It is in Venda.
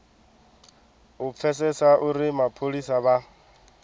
u pfesesa uri mapholisa vha